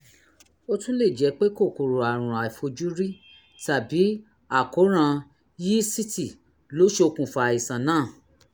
ó tún lè jẹ́ pé kòkòrò àrùn àìfojúrí tàbí àkóràn yíísítì ló ṣokùnfà àìsàn náà